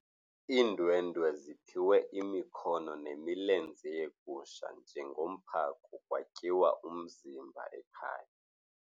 Iindwendwe ziphiwe imikhono nemilenze yegusha njengomphako kwatyiwa umzimba ekhaya.